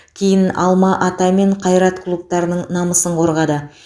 кейін алма ата мен қайрат клубтарының намысын қорғады